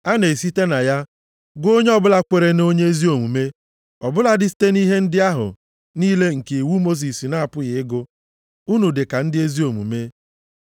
A na-esite na ya gụọ onye ọbụla kwere nʼonye ezi omume ọ bụladị site nʼihe ndị ahụ niile nke iwu Mosis na-apụghị ịgụ unu dị ka ndị ezi omume.